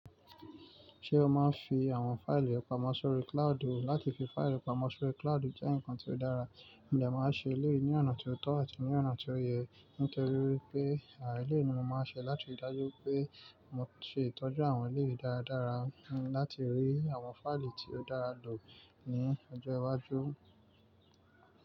Ṣé o má a ń fi àwọn fáìlì pamọ́ sórí cloud? Láti fi fáìlì pamọ́ sórí cloud jẹ́ nǹkan tí ó dára. Ǹjé mà á ṣe léèní ọ̀nà tí ó tọ́ àti ní ọ̀nà tí ó yé? Nítorí wipé eléyìí ni mo máa ṣe láti rí dájú wipé mo ṣe ìtọ́jú àwọn eléyìí dáradára láti rí àwọn fáìlì tí ó dára lò ní ọjọ́ iwájú.